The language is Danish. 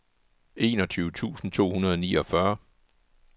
enogtyve tusind to hundrede og niogfyrre